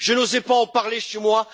Je n'osais pas en parler chez moi.